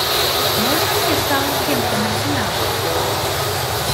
можно мне саутгемптон арсенал